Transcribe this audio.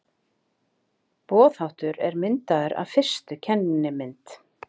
Boðháttur er myndaður af fyrstu kennimynd.